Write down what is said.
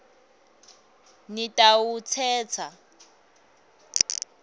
nitawutsatsa